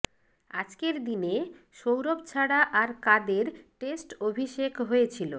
আজকের দিনে সৌরভ ছাড়া আর কাদের টেস্ট অভিষেক হয়েছিল